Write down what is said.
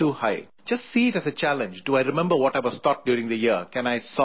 Just see it as a challenge do I remember what I was taught during the year, can I solve these problems